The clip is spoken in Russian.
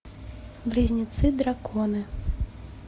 близнецы драконы